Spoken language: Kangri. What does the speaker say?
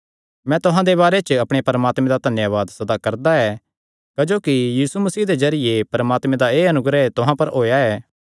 मैं तुहां दे बारे च अपणे परमात्मे दा धन्यावाद सदा करदा ऐ क्जोकि यीशु मसीह दे जरिये परमात्मे दा एह़ अनुग्रह तुहां पर होएया ऐ